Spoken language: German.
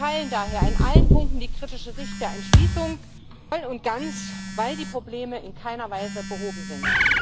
Wir teilen daher in allen Punkten die kritische Sicht der Entschließung voll und ganz, weil die Probleme in keiner Weise behoben sind.